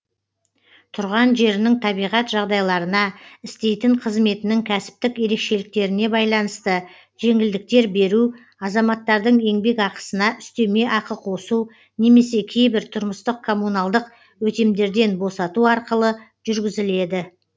тұрған жерінің табиғат жағдайларына істейтін қызметінің кәсіптік ерекшеліктеріне байланысты жеңілдіктер беру азаматтардың еңбекақысына үстеме ақы қосу немесе кейбір тұрмыстық коммуналдық өтемдерден босату арқылы жүргізіледі